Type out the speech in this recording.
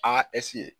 Aa